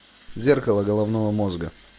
зеркало головного мозга